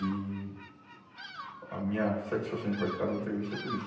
E a minha satisfação de participar da entrevista é por isso.